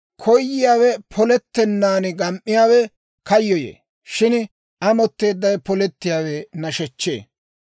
Koyiyaawe polettennaan gam"iyaawe kayyoyee; shin amotteeddawe polettiyaawe nashechchee.